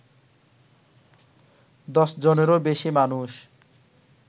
দশজনেরও বেশি মানুষ